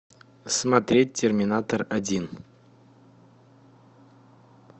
смотреть терминатор один